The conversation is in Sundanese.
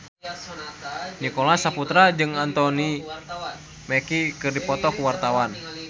Nicholas Saputra jeung Anthony Mackie keur dipoto ku wartawan